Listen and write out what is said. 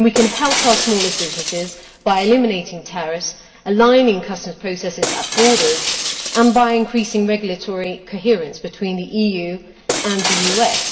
We can help our smallest businesses by eliminating tariffs, by aligning customs processes at borders, and by increasing regulatory coherence between the EU and the US.